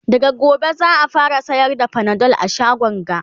daga gobe za'a fara sayar da Panadol a shagon ga